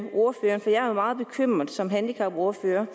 meget bekymret som handicapordfører